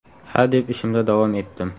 Ha, deb ishimda davom etdim.